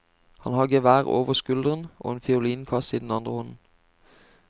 Han har gevær over skulderen og en fiolinkasse i den ene hånden.